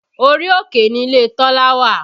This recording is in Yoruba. Orí òkè ni ilé Tọ́lá wà